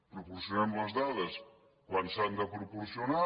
proporcionem les dades quan s’han de proporcionar